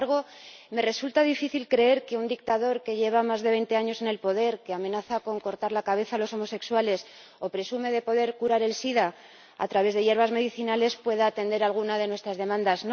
Sin embargo, me resulta difícil creer que un dictador que lleva más de veinte años en el poder, que amenaza con cortar la cabeza a los homosexuales o presume de poder curar el sida a través de hierbas medicinales, pueda atender alguna de nuestras demandas.